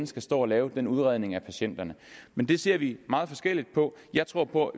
skal stå og lave den udredning af patienterne men det ser vi meget forskelligt på jeg tror på